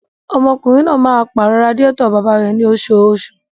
Ọmọkùnrin máa pàrọ̀ radiátọ̀ bàbá rẹ̀ ní oṣooṣù.